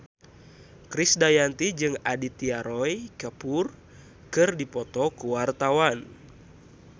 Krisdayanti jeung Aditya Roy Kapoor keur dipoto ku wartawan